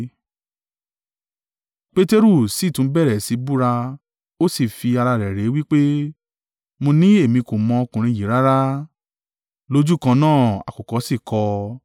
Peteru sì tún bẹ̀rẹ̀ sí í búra ó sì fi ara rẹ̀ ré wí pé, “Mo ní èmi kò mọ ọkùnrin yìí rárá.” Lójúkan náà àkùkọ sì kọ.